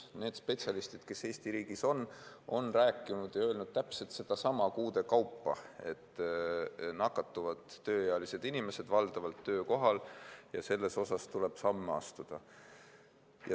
Need spetsialistid, kes Eesti riigis on, on rääkinud ja öelnud täpselt sedasama kuude kaupa, et valdavalt nakatuvad tööealised inimesed töökohal ja selle vastu tuleb samme astuda.